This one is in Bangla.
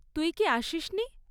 তুই কি আসিস নি?